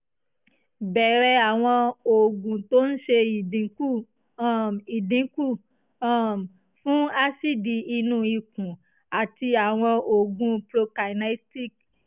bẹrẹ àwọn oògùn tó ń ṣe ìdínkù um ìdínkù um fún aásíìdì inú ikùn àti àwọn oògùn prokinetic